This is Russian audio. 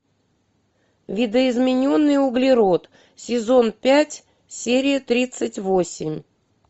видоизмененный углерод сезон пять серия тридцать восемь